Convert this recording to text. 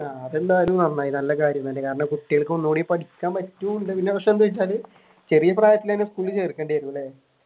അതെന്തായാലും നന്നായി നല്ല കാര്യം തന്നെ കാരണം കുട്ടികൾക്ക് ഒന്നും കൂടി ചെറിയ പ്രായത്തിൽ തന്നെ സ്കൂളിൽ ചേർക്കേണ്ടി വരുമല്ലേ?